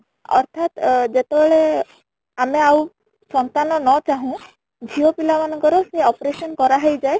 ଅର୍ଥାତ ଅଂ ଯେତେ ବେଳେ ଆମେ ଆଉ ସନ୍ତାନ ନ ଚାହୁଁ ଝିଅ ପିଲା ମାନଙ୍କର ସେ operation କରା ହେଇ ଯାଏ